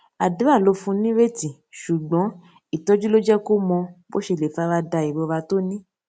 àdúrà ló fún nírètí ṣùgbón ìtójú ló jé kó mọ bó ṣe lè farada ìrora tó ní